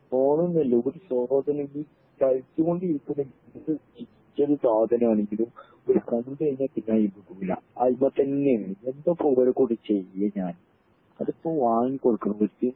ഫോണിന്ന് അല്ല ഒരു സാധനം ആണെങ്കിലും അത് കണ്ട് കഴിഞ്ഞ പിന്നെ അയിമെ അയിമെതന്നേണ് എന്താപ്പൊ ഒരെകൊണ്ട് ചെയ്യെ ഞാൻ അതിപ്പോ വാങ്ങികൊടുക്കണോ ഇവർക്ക്